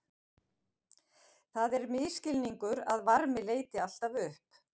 Það er misskilningur að varmi leiti alltaf upp.